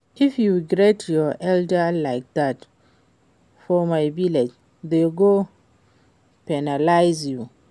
If you greet your elder like dat for my village dey go penalize you